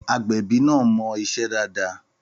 Àgbẹ̀bí náà mọ iṣẹ́ dáadáa.